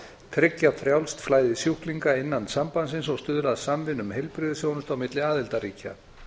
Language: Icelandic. tryggja frjálst flæði sjúklinga innan sambandsins og stuðla að samvinnu um heilbrigðisþjónustu á milli aðildarríkja